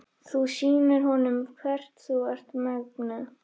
Þú sýnir honum hvers þú ert megnug.